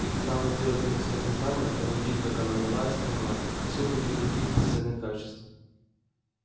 и когда она сделает ему своё признание он увидит как она мила и скромна и сколько в ней других бесценных качеств